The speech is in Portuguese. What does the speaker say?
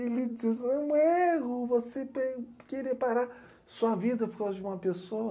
Ele diz, não é você pe, querer parar sua vida por causa de uma pessoa.